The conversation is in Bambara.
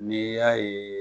N'i y'a ye